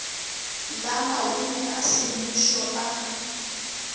la maleme a semmušo a